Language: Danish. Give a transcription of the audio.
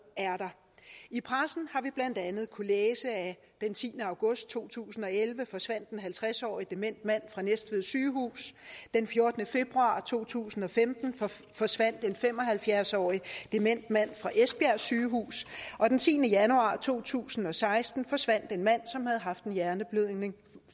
er der i pressen har vi blandt andet kunnet læse den tiende august to tusind og elleve forsvandt en halvtreds årig dement mand fra næstved sygehus den fjortende februar to tusind og femten forsvandt en fem og halvfjerds årig dement mand fra esbjerg sygehus og den tiende januar to tusind og seksten forsvandt en mand som havde haft en hjerneblødning